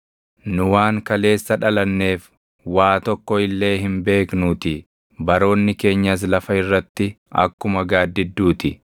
nu waan kaleessa dhalanneef waa tokko illee hin beeknuutii; baroonni keenyas lafa irratti akkuma gaaddidduu ti.